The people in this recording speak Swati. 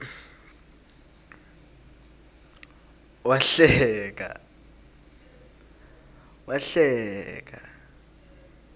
wahleka